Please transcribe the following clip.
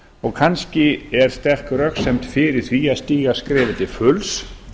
og kannski er sterk röksemd fyrir því að stíga skrefið til fulls